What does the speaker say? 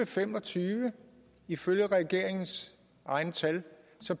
fem og tyve ifølge regeringens egne tal